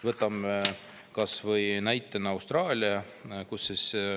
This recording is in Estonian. Võtame näitena kas või Austraalia.